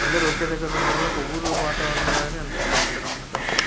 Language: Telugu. అందరూ ఒకే దగ్గరా ఉండటం వాలా ఒక ఊరు వాతారణంలనే అనిపిస్తది ఇక్కడ ఉండటంవలన.